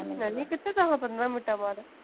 ਹਾਏ ਨੀ, ਕਿੱਥੇ ਜਾਵਾਂ ਪੰਦਰਾਂ ਮਿੰਟਾਂ ਬਾਅਦ?